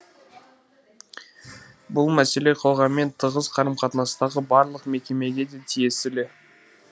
бұл мәселе қоғаммен тығыз қарым қатынастағы барлық мекемеге де тиесілі